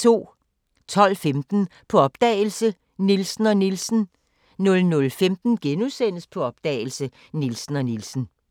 12:15: På opdagelse – Nielsen og Nielsen 00:15: På opdagelse – Nielsen og Nielsen *